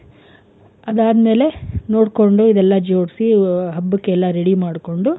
ಅದಾದ್ಮೇಲೆ ನೋಡ್ಕೊಂಡು ಇದೆಲ್ಲ ಜೋಡ್ಸಿ ಹಬ್ಬಕ್ಕೆಲ್ಲ ready ಮಾಡ್ಕೊಂಡು,